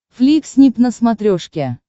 фликснип на смотрешке